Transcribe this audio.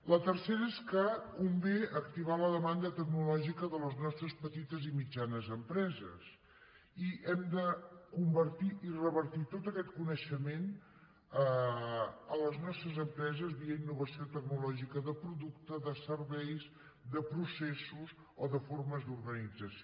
la tercera és que convé activar la demanda tecnològi·ca de les nostres petites i mitjanes empreses i hem de convertir i revertir tot aquest coneixement a les nos·tres empreses via innovació tecnològica de producte de serveis de processos o de formes d’organització